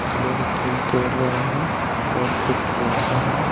लोग फूल तोड़ रहे हैं और कुछ औरतें हैं।